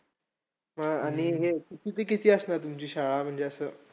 हा आणि हे किती ते किती असणार तुमची शाळा? म्हणजे असं